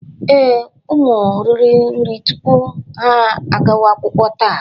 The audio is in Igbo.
Ee, ụmụ riri nri tupu ha agawa akwụkwọ taa